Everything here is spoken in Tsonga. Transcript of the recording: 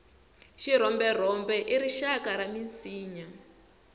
xirhomberhombe i rixaka ra minsinya